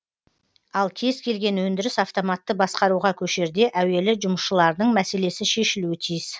ал кез келген өндіріс автоматты басқаруға көшерде әуелі жұмысшылардың мәселесі шешілуі тиіс